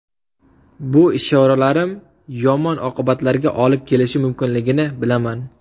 Bu ishoralarim yomon oqibatlarga olib kelishi mumkinligini bilaman.